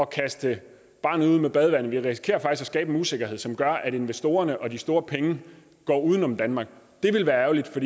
kaste barnet ud med badevandet vi risikerer faktisk at skabe en usikkerhed som gør at investorerne og de store penge går uden om danmark det vil være ærgerligt for